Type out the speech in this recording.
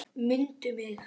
MUNDU MIG!